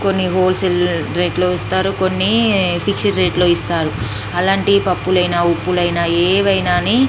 కొన్ని wholesale rate లో ఇస్తారు కొన్ని ఫిక్స్డ్ రేట్ లో ఇస్తారు అలాంటి పప్పులైన ఉప్పులైన ఏవైనాని --